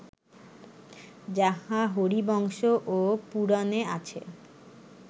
যাহা হরিবংশ ও পুরাণে আছে